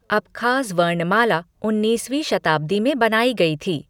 Abkhaz वर्णमाला उन्नीसवी शताब्दी में बनाई गई थी।